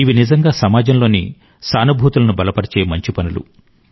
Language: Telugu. ఇవి నిజంగా సమాజంలోని సానుభూతులను బలపరిచే మంచి పనులు